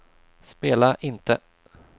spela inte